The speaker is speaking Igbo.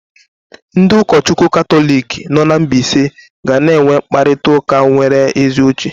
Ndị ụkọchukwu Katọlik niile nọ na mbaise ga-enwe mkparịta ụka nwere ezi uche.